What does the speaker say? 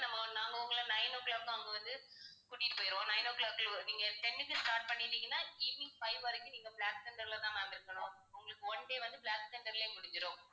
நம்ம நாங்க உங்களை nine o'clock அங்க வந்து கூட்டிட்டு போயிடுவோம் nine o'clock ல நீங்க ten க்கு start பண்ணிட்டீங்கன்னா evening five வரைக்கும் நீங்கப் பிளாக் தண்டர்லதான் ma'am இருக்கணும். உங்களுக்கு one day வந்து பிளாக் தண்டர்லயே முடிஞ்சிடும்.